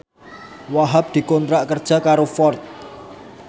Wahhab dikontrak kerja karo Ford